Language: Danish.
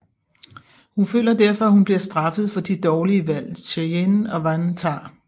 Hun føler derfor at hun bliver straffet for de dårlige valg Cheyenne og Van tager